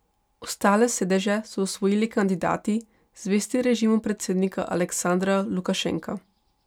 Ostale sedeže so osvojili kandidati, zvesti režimu predsednika Aleksandra Lukašenka.